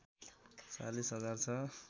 ४० हजार छ